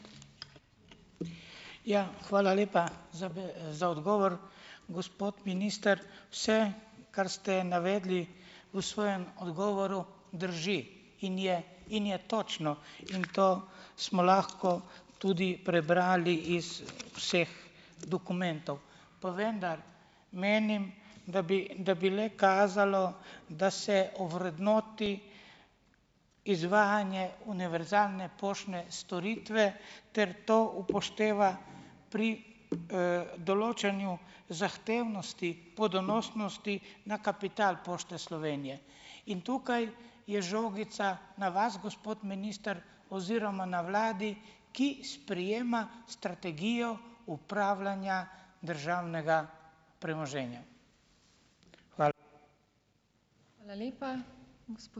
Ja, hvala lepa za za odgovor. Gospod minister, vse, kar ste navedli v svojem odgovoru, drži in je, in je točno. In to smo lahko tudi prebrali iz vseh dokumentov. Pa vendar menim, da bi, da bi le kazalo, da se ovrednoti izvajanje univerzalne poštne storitve ter to upošteva pri, določanju zahtevnosti po donosnosti na kapital Pošte Slovenije, in tukaj je žogica na vas, gospod minister, oziroma na vladi, ki sprejema strategijo upravljanja državnega premoženja.